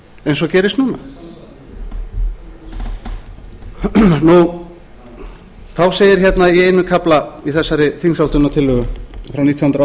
eins og gerist núna þá segir hérna í einum kafla í þessar þingsályktunartillögu frá nítján hundruð